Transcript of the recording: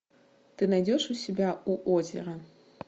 ты найдешь у себя у озера